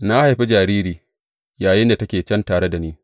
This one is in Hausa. Na haifi jariri yayinda take can tare da ni.